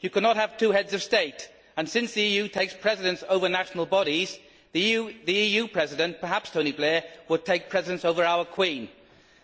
You cannot have two Heads of State and, since the EU takes precedence over national bodies, the EU President perhaps Tony Blair will take precedence over our Queen.